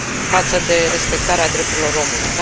față de respectarea drepturilor omului.